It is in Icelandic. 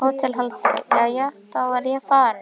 HÓTELHALDARI: Jæja, þá er ég farinn.